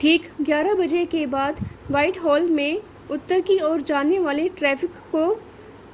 ठीक 11:00 बजे के बाद व्हाइटहॉल में उत्तर की ओर जाने वाले ट्रैफ़िक को